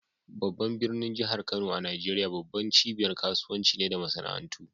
Babban birnin jihar Kano a Najeriya, babbar cibiyar kasuwanci ce da masana'antu.